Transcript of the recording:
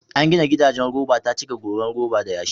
An gina gidajen roba ta cika goran roba da yashi.